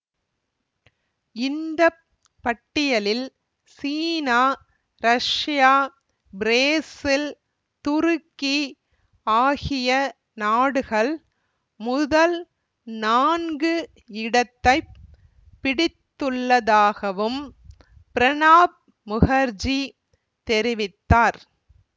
இந்த பட்டியலில் சீனா ரஷ்யா பிரேசில் துருக்கி ஆகிய நாடுகள் முதல் நான்கு இடத்தை பிடித்துள்ளதாகவும் பிரணாப் முகர்ஜி தெரிவித்தார்